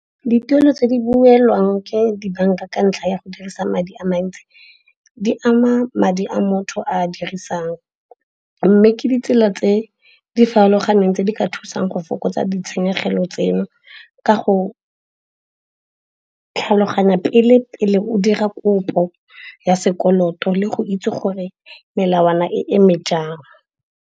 Dituelo tse di duelwang ke dibanka ka ntlha ya go dirisa madi a mantsi di ama madi a motho a dirisang. Mme ke ditsela tse di farologaneng tse di ka thusang go fokotsa ditshenyegelo tseno ka go tlhaloganya pele, pele o dira kopo ya sekoloto le go itse gore melawana e eme jang.